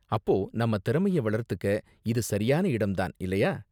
அப்போ நம்ம திறமைய வளர்த்துக்க இது சரியான இடம் தான், இல்லயா?